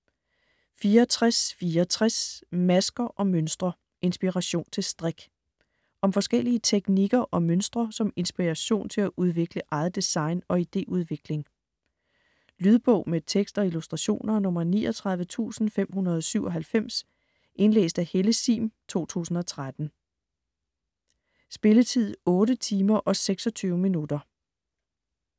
64.64 Masker & mønstre: inspiration til strik Om forskellige teknikker og mønstre som inspiration til at udvikle eget design og ideudvikling. Lydbog med tekst og illustrationer 39597 Indlæst af Helle Sihm, 2013. Spilletid: 8 timer, 26 minutter.